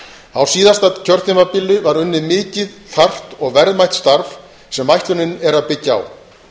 á síðasta kjörtímabili var unnið mikið þarft og verðmætt starf sem ætlunin er að byggja á